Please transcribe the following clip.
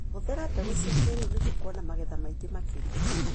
Hũthĩra mbegũ cia kĩrĩu nĩguo kuona magetha maingĩ makĩria.